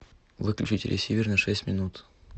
выключить ресивер на шесть минут